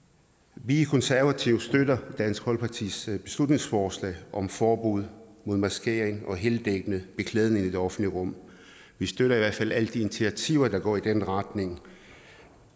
vi i konservative støtter dansk folkepartis beslutningsforslag om forbud mod maskering og heldækkende beklædning i det offentlige rum vi støtter i hvert fald alle de initiativer der går i den retning